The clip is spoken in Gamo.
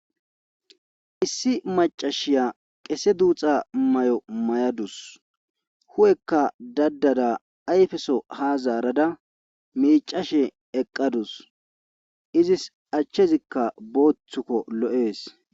Issi macashiya qese duuxa may7o may7adus hu7ekka dadada ayfeso ha zaarada miicashe eqqadus izis achchezikka booththukko lo7ees.